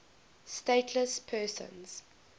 stateless persons